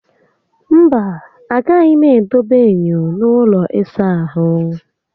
Mba, agaghị m edebe enyo n'ụlọ ịsa ahụ